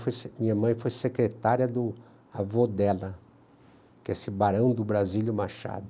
minha mãe foi secretária do avô dela, que é esse Barão do Brasílio Machado.